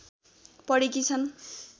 पढेकी छन्